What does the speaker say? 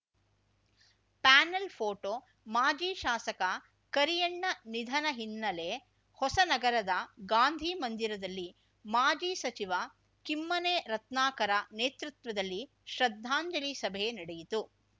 panel photo ಮಾಜಿ ಶಾಸಕ ಕರಿಯಣ್ಣ ನಿಧನ ಹಿನ್ನೆಲೆ ಹೊಸನಗರದ ಗಾಂಧಿ ಮಂದಿರದಲ್ಲಿ ಮಾಜಿ ಸಚಿವ ಕಿಮ್ಮನೆ ರತ್ನಾಕರ ನೇತೃತ್ವದಲ್ಲಿ ಶ್ರದ್ಧಾಂಜಲಿ ಸಭೆ ನಡೆಯಿತು